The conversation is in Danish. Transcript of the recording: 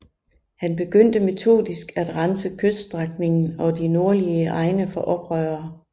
Han begyndte metodisk at rense kyststrækningen og de nordlige egne for oprørere